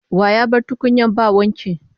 Wa ya bar tukunyan ba wanki?